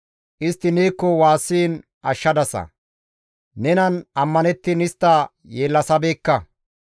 Istti neekko waassiin ashshadasa; nenan ammanettiin istta yeellasabeekka.